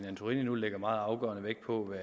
antorini nu lægger meget afgørende vægt på